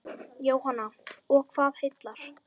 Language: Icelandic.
Jóhanna: Og hvað heillar?